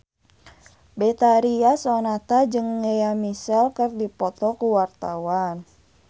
Betharia Sonata jeung Lea Michele keur dipoto ku wartawan